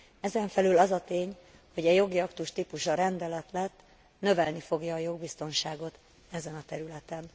Ezenfelül az a tény, hogy a jogi aktus típusa rendelet lett, növelni fogja a jogbiztonságot ezen a területen.